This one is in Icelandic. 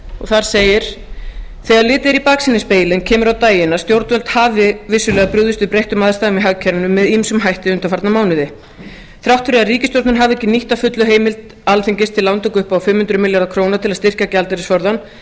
þar segir þegar litið er í baksýnisspegilinn kemur á daginn að stjórnvöld hafi vissulega brugðist við breyttum aðstæðum í hagkerfinu með ýmsum hætti undanfarna mánuði þrátt fyrir að ríkisstjórnin hafi ekki nýtt að fullu heimild alþingis til lántöku upp að fimm hundruð maður til að styrkja gjaldeyrisforðann